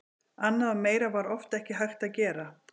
Annað og meira var oft ekki hægt að gera.